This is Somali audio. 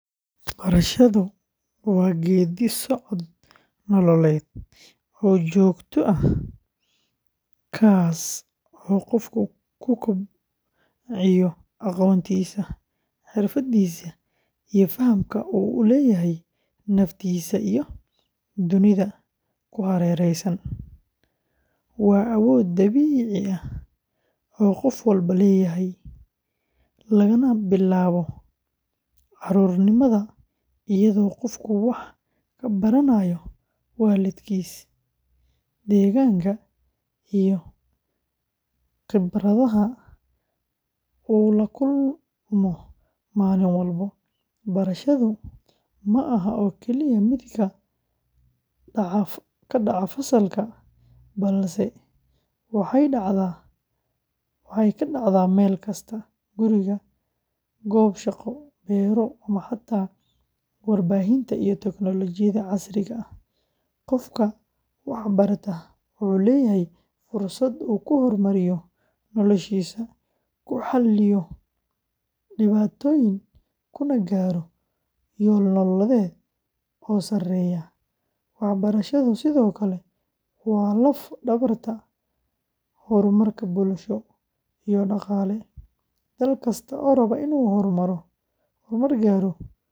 Barashadu waa geeddi-socod nololeed oo joogto ah kaas oo qofku ku kobciyo aqoontiisa, xirfadiisa, iyo fahamka uu u leeyahay naftiisa iyo dunida ku hareeraysan. Waa awood dabiici ah oo qof walba leeyahay, lagana bilaabo carruurnimada iyadoo qofku wax ka baranayo waalidkiis, deegaanka, iyo khibradaha uu la kulmo maalin walba. Barashadu ma aha oo kaliya mid ka dhaca fasalka, balse waxay dhacdaa meel kasta guri, goob shaqo, beero, ama xataa warbaahinta iyo tiknoolajiyadda casriga ah. Qofka wax barta wuxuu leeyahay fursad uu ku horumariyo noloshiisa, ku xalliyo dhibaatooyin, kuna gaaro yoolal nololeed oo sarreeya. Waxbarashadu sidoo kale waa laf-dhabarta horumarka bulsho iyo dhaqaale. Dal kasta oo raba inuu horumar gaaro.